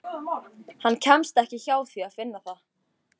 Hann kemst ekki hjá því að finna það.